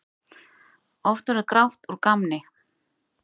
Oft verður grátt úr gamni.